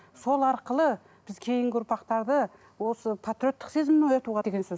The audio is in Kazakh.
сол арқылы біз кейінгі ұрпақтарды осы патриоттық сезімін оятуға деген сөз